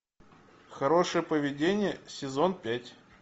хорошее поведение сезон пять